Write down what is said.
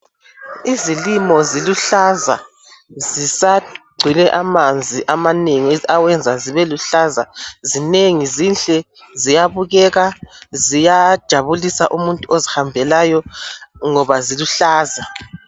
izilimo ziluhlaza zisagcwele amanzi amanengi awenza zibe luhlaza zinengi zinhle ziyabukeka ziyajabulisa umuntu ozihambelayo ngoba ziluhlaza